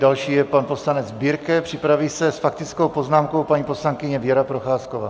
Další je pan poslanec Birke, připraví se s faktickou poznámkou paní poslankyně Věra Procházková.